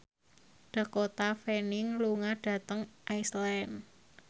Dakota Fanning lunga dhateng Iceland